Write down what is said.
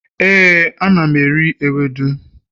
éè, ana m eri ewedu